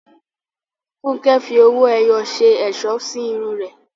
Funke fi owó ẹyọ ṣe ẹ̀ṣọ́ sí irun rẹ̀.